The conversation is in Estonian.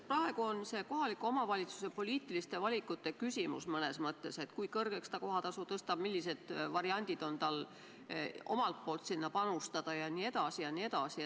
Praegu on see kohaliku omavalitsuse poliitiliste valikute küsimus mõnes mõttes: kui kõrgeks ta kohatasu tõstab, millised variandid on tal omalt poolt sellesse panustada jne, jne.